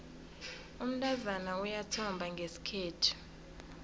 umntazana uyathomba ngesikhethu